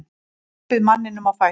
Hjálpið manninum á fætur.